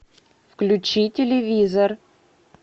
включи телевизор